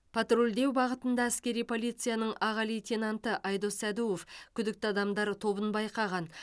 патрульдеу бағытында әскери полицияның аға лейтенанты айдос сәдуов күдікті адамдар тобын байқаған